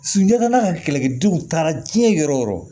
Sunjata n'a ka kɛlɛkɛdenw taara diɲɛ yɔrɔ o yɔrɔ